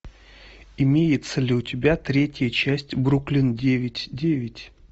имеется ли у тебя третья часть бруклин девять девять